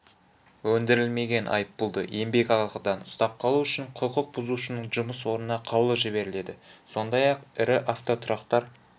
өндірілмеген айыппұлды еңбекақыдан ұстап қалу үшін құқық бұзушының жұмыс орнына қаулы жіберіледі сондай-ақ ірі автотұрақтар